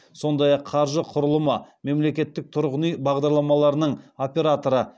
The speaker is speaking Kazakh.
сондай ақ қаржы құрылымы мемлекеттік тұрғын үй бағдарламаларының операторы